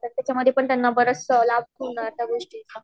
त्याच्या मधे पण त्यांना लाभ होणार त्या गोष्टीचा